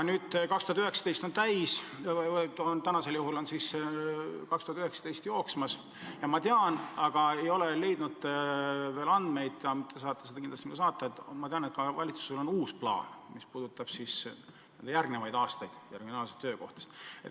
Nüüd siis jookseb aasta 2019 ja ma tean, aga ei ole leidnud veel andmeid – te saate need kindlasti mulle saata –, et valitsusel on uus plaan, mis puudutab järgmisi aastaid ja regionaalseid töökohtasid.